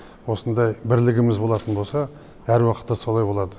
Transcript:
осындай бірлігіміз болатын болса әр уақытта солай болады